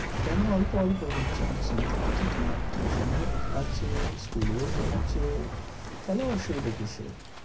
কেন অল্প অল্প হচ্ছে? আমি তো শুনতে পেয়েছি তোমার tuition ও আছে school ও পড়ছো। তাহলে অসুবিধা কীসের?